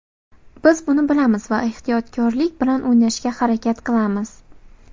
Biz buni bilamiz va ehtiyotkorlik bilan o‘ynashga harakat qilamiz.